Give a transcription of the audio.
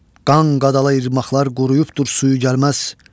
Qan qadalı irmaqlar quruyubdur, suyu gəlməz.